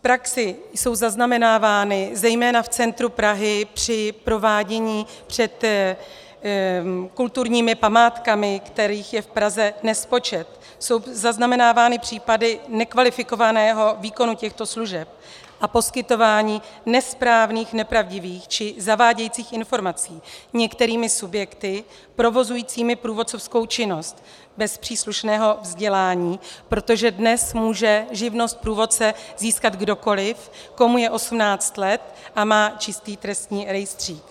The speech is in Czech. V praxi jsou zaznamenávány zejména v centru Prahy při provádění před kulturními památkami, kterých je v Praze nespočet, jsou zaznamenávány případy nekvalifikovaného výkonu těchto služeb a poskytování nesprávných, nepravdivých či zavádějících informaci některými subjekty provozujícími průvodcovskou činnost bez příslušného vzdělání, protože dnes může živnost průvodce získat kdokoliv, komu je 18 let a má čistý trestní rejstřík.